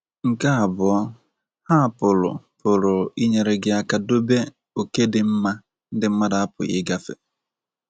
Nke abụọ, ha pụrụ pụrụ inyere gị aka dobe oke dị mma ndi mmadu apughi ịgafe.